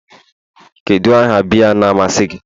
Kedu aha biya na-amasị gi?